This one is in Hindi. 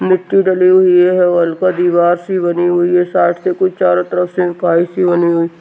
मिट्टी डली हुई है हल्का दीवार सी बनी हुई है साइट के कुछ चारों तरफ से काई सी बनी हुई --